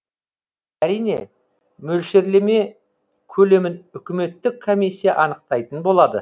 әрине мөлшерлеме көлемін үкіметтік комиссия анықтайтын болады